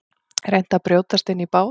Reynt að brjótast inn í bát